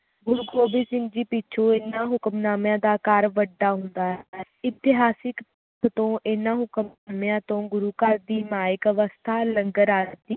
ਗੁਰੂ ਗੋਬਿੰਦ ਸਿੰਘ ਜੀ ਪਿੱਛੋਂ ਇਹਨਾਂ ਹੁਕਮਨਾਮਿਆਂ ਦਾ ਆਕਾਰ ਵੱਡਾ ਹੁੰਦਾ ਹੈ ਇਤਿਹਾਸਿਕ ਤੋਂ ਇਹਨਾਂ ਹੁਕਮਨਾਮਿਆਂ ਤੋਂ ਗੁਰੂ ਘਰ ਦੀ ਮਾਇਕ ਅਵਸਥਾ ਲੰਗਰ